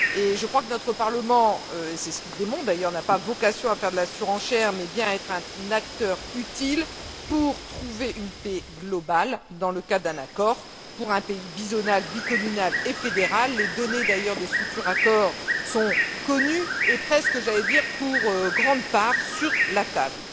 Je crois que notre Parlement c'est ce qu'il démontre d'ailleurs n'a pas vocation à faire de la surenchère mais bien à être un acteur utile pour trouver une paix globale dans le cadre d'un accord pour un pays bizonal, bicommunal et fédéral. D'ailleurs, les données d'un futur accord sont connues et presque j'allais dire pour une grande part sur la table.